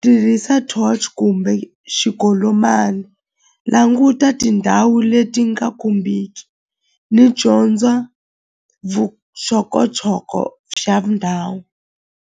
tirhisa torch kumbe languta tindhawu leti nga khumbiki ni dyondza xa ndhawu.